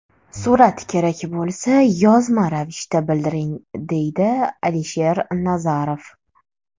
Surat kerak bo‘lsa, yozma ravishda bildiring, deydi Alisher Nazarov.